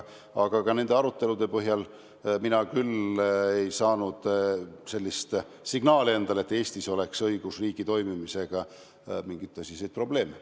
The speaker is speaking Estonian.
Aga ka nende arutelude põhjal ei saanud mina küll sellist signaali, et Eestis oleks õigusriigi toimimisega mingeid tõsiseid probleeme.